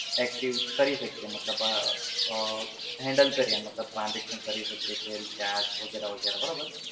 active કરી શકીએ મતલબ અ handle કરીએ મતલબ transaction કરી શકીએ છે, recharge વગેરે વગેરે બરાબર?